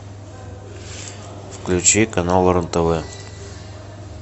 включи канал рен тв